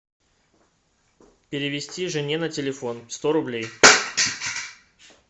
перевести жене на телефон сто рублей